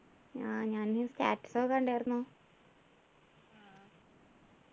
ആഹ് ഞാന് status ഒക്കെ കണ്ടാർന്നു